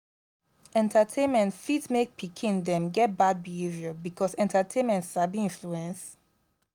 entertainment fit make pikin them get bad behaviour because entertainment sabi influence